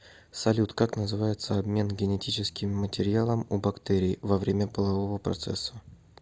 салют как называется обмен генетическим материалом у бактерий во время полового процесса